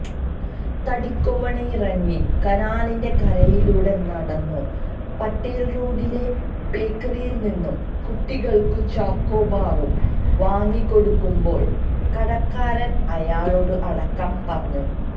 തടിക്കോവണിയിറങ്ങി കനാലിന്റെ കരയിലൂടെ നടന്നു പട്ടേല്റോഡിലെ ബേക്കറിയില്നിന്നു കുട്ടികള്ക്കു ചോക്കോബാറു വാങ്ങിക്കൊടുക്കുമ്പോള് കടക്കാരന് അയാളോടു അടക്കം പറഞ്ഞു